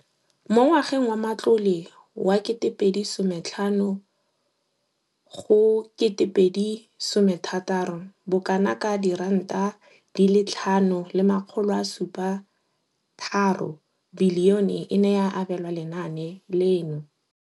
Mo ngwageng wa matlole wa 2015 go 2016, bokanaka 5 703 bilione e ne ya abelwa lenaane leno.